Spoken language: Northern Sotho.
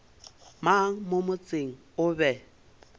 mang mo motseng o be